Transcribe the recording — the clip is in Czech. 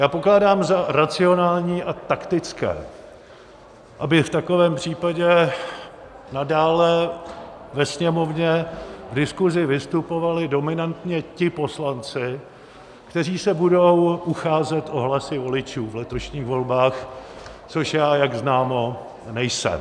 Já pokládám za racionální a taktické, aby v takovém případě nadále ve Sněmovně v diskuzi vystupovali dominantně ti poslanci, kteří se budou ucházet o hlasy voličů v letošních volbách, což já, jak známo, nejsem.